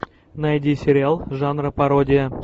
найди сериал жанра пародия